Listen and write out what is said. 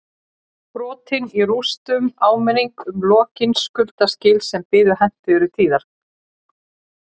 Brotin í rústunum áminning um ólokin skuldaskil sem biðu hentugri tíðar